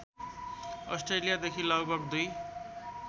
अस्ट्रेलियादेखि लगभग २